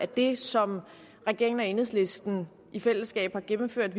det som regeringen og enhedslisten i fællesskab har gennemført